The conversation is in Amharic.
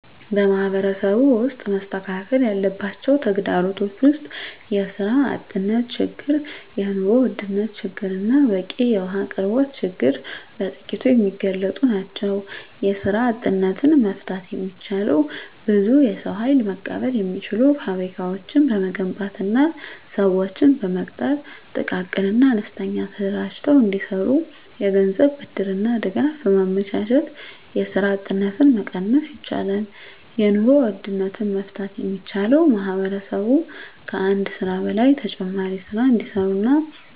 በማህበረሰቡ ውስጥ መስተካከል ያለባቸው ተግዳሮቶች ውስጥ የስራ አጥነት ችግር የኑሮ ውድነት ችግርና በቂ የውሀ አቅርቦት ችግር በጥቂቱ የሚገለፁ ናቸው። የስራ አጥነትን መፍታት የሚቻለው ብዙ የሰው ሀይል መቀበል የሚችሉ ፋብሪካዎችን በመገንባትና ስዎችን በመቅጠር ጥቃቅንና አነስተኛ ተደራጅተው እንዲሰሩ የገንዘብ ብድርና ድጋፍ በማመቻቸት የስራ አጥነትን መቀነስ ይቻላል። የኑሮ ውድነትን መፍታት የሚቻለው ማህበረሰቡ ከአንድ ስራ በላይ ተጨማሪ ስራ እንዲሰሩና